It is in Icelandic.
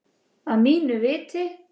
Að mínu viti.